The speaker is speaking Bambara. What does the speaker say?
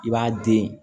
I b'a den